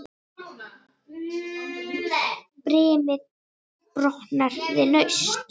Brimið brotnar við naust.